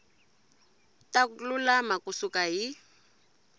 ta lulama ku suka hi